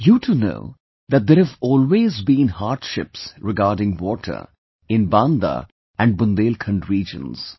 You too know that there have always been hardships regarding water in Banda and Bundelkhand regions